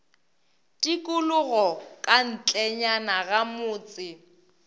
tikologo ka ntlenyana ga motse